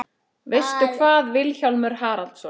Veistu hvað, Vilhjálmur Haraldsson?